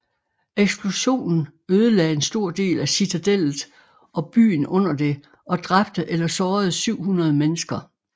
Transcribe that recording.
Eksplosionen ødelagde en stor del af citadellet og byen under det og dræbte eller sårede 700 mennesker